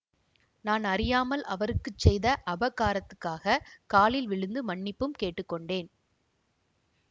நான் அறியாமல் அவருக்கு செய்த அபகாரத்துக்காகக் காலில் விழுந்து மன்னிப்பும் கேட்டு கொண்டேன்